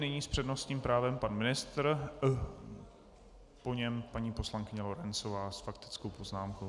Nyní s přednostním právem pan ministr, po něm paní poslankyně Lorencová s faktickou poznámkou.